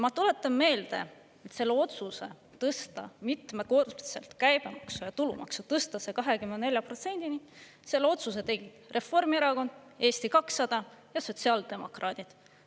Ma tuletan meelde, et selle otsuse tõsta mitmekordselt käibemaksu ja tulumaksu, tõsta see 24%-ni, selle otsuse tegid Reformierakond, Eesti 200 ja sotsiaaldemokraadid.